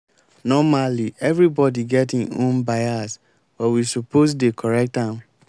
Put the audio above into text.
normally everybody get em own bias but we suppose dey correct am.